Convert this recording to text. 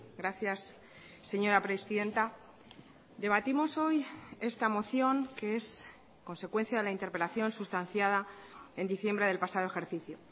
gracias señora presidenta debatimos hoy esta moción que es consecuencia de la interpelación sustanciada en diciembre del pasado ejercicio